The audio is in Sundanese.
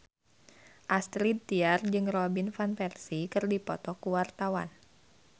Astrid Tiar jeung Robin Van Persie keur dipoto ku wartawan